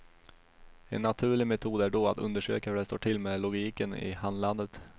En naturlig metod är då att undersöka hur det står till med logiken i handlandet.